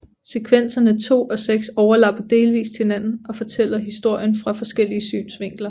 Sekvenserne 2 og 6 overlapper delvist hinanden og fortæller historien fra forskellige synsvinkler